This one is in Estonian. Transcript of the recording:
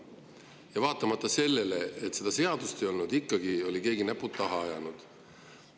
Ja vaatamata sellele, et seda seadust veel ei olnud, ikkagi oli keegi näpud taha ajanud.